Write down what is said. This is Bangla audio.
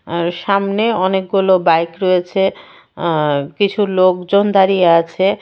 আর সামনে অনেকগুলো বাইক রয়েছে আর কিছু লোকজন দাঁড়িয়ে আছে।